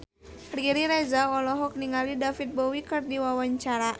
Riri Reza olohok ningali David Bowie keur diwawancara